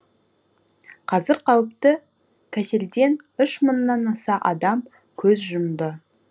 қазір қауіпті кеселден үш мыңнан аса адам көз жұмды